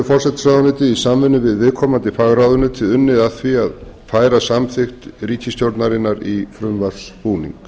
forsætisráðuneytið í samvinnu við viðkomandi fagráðuneyti unnið að því að færa samþykkt ríkisstjórnarinnar í frumvarpsbúning